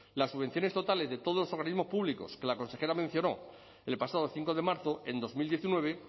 las subvenciones totales de todos los organismos públicos que la consejera mencionó el pasado cinco de marzo en dos mil diecinueve